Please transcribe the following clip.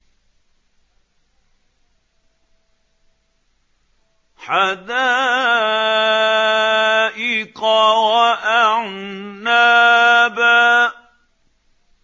حَدَائِقَ وَأَعْنَابًا